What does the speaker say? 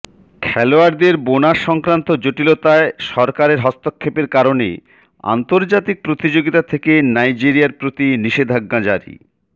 খেলোয়াড়দের বোনাস সংক্রান্ত জটিলতায় সরকারের হস্তক্ষেপের কারণে আর্ন্তজাতিক প্রতিযোগিতা থেকে নাইজেরিয়ার প্রতি নিষেধাজ্ঞা জারি